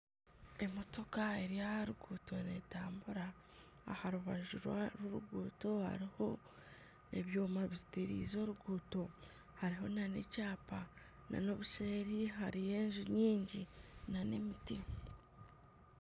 Emotoka eri aha ruguuto netambura aha rubaju rw'oruguuto hariho ebyoma biteerize oruguuto hariho n'ekyapa n'obuseeri hariyo enju nyingi na emiti.